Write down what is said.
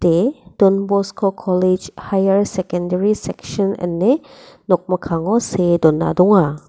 don bosko kolej haiar sekendari seksin ine nokmikkango see dona donga.